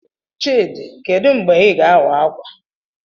Chidi, kedu mgbe Ị ga-awa ákwà?